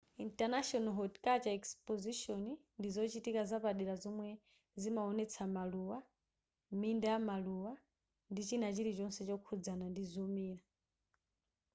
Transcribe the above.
international horticultural expositions ndi zochitika zapadera zomwe zimawonetsa maluwa minda yamaluwa ndi china chilichonse chokhudzana ndi zomera